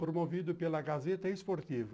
Promovido pela Gazeta Esportiva.